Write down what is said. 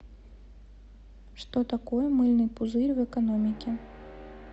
что такое мыльный пузырь в экономике